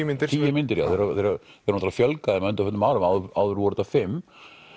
myndir tíu myndir þeim hefur fjölgað þeim á undanförnum árum áður voru þær fimmta